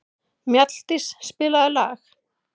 Mjalldís, spilaðu lag.